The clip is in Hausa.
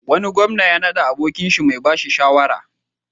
Wani gwamna ya naɗa abokinsa mai ba shi shawara.